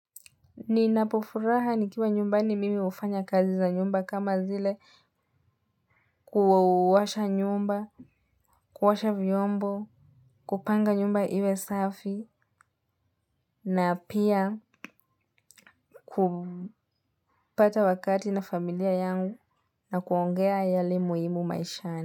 Ninapofuraha nikiwa nyumbani mimi ufanya kazi za nyumba kama zile kuosha nyumba, kuosha vyombo, kupanga nyumba iwe safi, na pia kupata wakati na familia yangu na kuongea yale muhimu maishani.